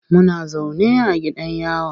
Muna zaune a gidan yawa.